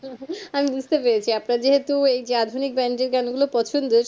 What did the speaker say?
আমি বুঝতে পেরেছি আপনার যেহুতু এই যে আধুনিক band এর গান গুলো পছন্দ